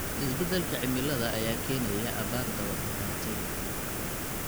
Isbeddelka cimilada ayaa keenaya abaar daba dheeraatay.